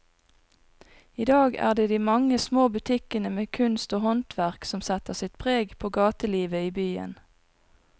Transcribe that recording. I dag er det de mange små butikkene med kunst og håndverk som setter sitt preg på gatelivet i byen.